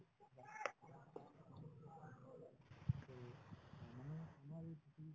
মানে তোমাৰ এই